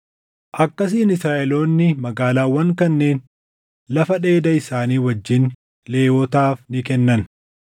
Akkasiin Israaʼeloonni magaalaawwan kanneen lafa dheeda isaanii wajjin Lewwotaaf ni kennan.